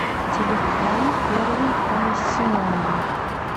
телефон первый комиссионный